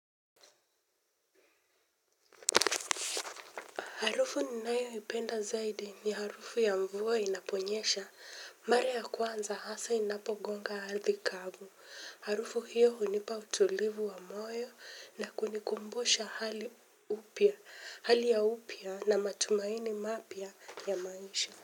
Harufu ninayoipenda zaidi ni harufu ya mvua inaponyesha. Mara ya kwanza hasa inapogonga ardhi kavu. Harufu hiyo hunipa utulivu wa moyo na kunikumbusha hali ya upya na matumaini mapya ya maisha.